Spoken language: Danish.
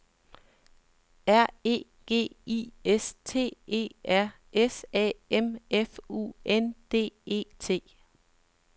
R E G I S T E R S A M F U N D E T